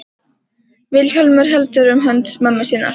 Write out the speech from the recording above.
Vilhjálmur heldur um hönd mömmu sinnar.